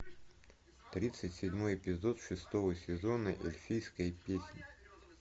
тридцать седьмой эпизод шестого сезона эльфийская песнь